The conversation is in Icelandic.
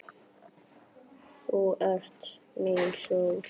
Þú ert mín sól.